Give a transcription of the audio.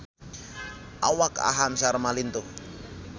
Awak Aham Sharma lintuh